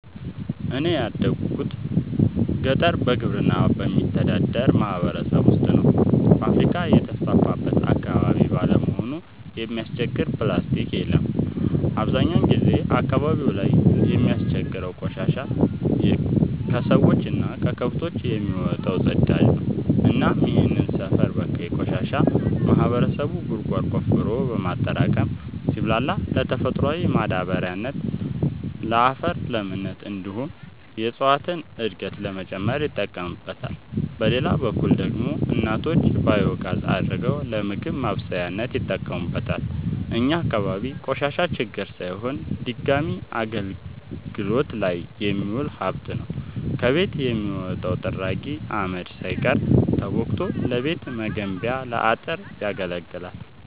እኔ ያደጉት ገጠር በግብርና በሚተዳደር ማህበረሰብ ውስጥ ነው። ፋብሪካ የተስፋፋበት አካባቢ ባለመሆኑ የሚያስቸግር ፕላስቲ የለም አብዛኛውን ጊዜ አካባቢው ላይ የሚያስቸግረው ቆሻሻ የከሰዎች እና ከከብቶች የሚወጣው ፅዳጅ ነው እናም ይህንን ሰፈር በካይ ቆሻሻ ማህበረሰቡ ጉድጓድ ቆፍሮ በማጠራቀም ሲብላላ ለተፈጥሯዊ ማዳበሪያነት ለአፈር ለምነት እንዲሁም የእፀዋትን እድገት ለመጨመር ይጠቀምበታል። በሌላ በኩል ደግሞ እናቶች ባዮጋዝ አድርገው ለምግብ ማብሰያነት ይጠቀሙበታል። እኛ አካባቢ ቆሻሻ ችግር ሳይሆን ድጋሚ አገልግት ላይ የሚውል ሀብት ነው። ከቤት የሚወጣው ጥራጊ አመድ ሳይቀር ተቦክቶ ለቤት መገንቢያ ለአጥር ያገለግላል።